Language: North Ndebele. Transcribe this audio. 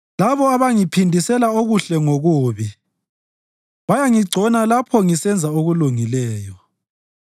Labo abangiphindisela okuhle ngokubi bayangigcona lapho ngisenza okulungileyo.